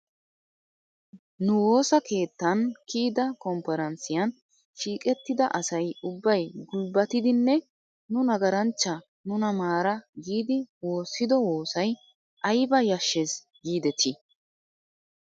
Nu woosa keettan kiyida komppiranssiyan shiiqettida asay ubbay gulbbatidinne nu nagaranchcha nuna maara giidi woossido woosay aybba yashshees giidetii ?